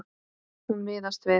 Hún miðast við.